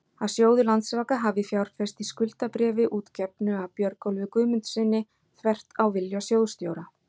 að sjóður Landsvaka hafi fjárfest í skuldabréfi útgefnu af Björgólfi Guðmundssyni, þvert á vilja sjóðsstjóra?